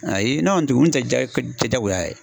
Ayi; ntkun tɛ diyagoya ye.